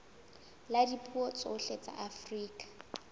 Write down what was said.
la dipuo tsohle tsa afrika